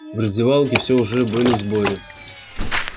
в раздевалке все уже были в сборе